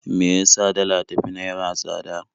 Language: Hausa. Me ya sa dala ta fi naira tsada?